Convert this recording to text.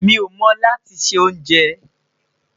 Mí o mo lati ṣe onjè